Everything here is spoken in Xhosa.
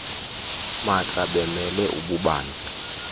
maatla bemele ububanzi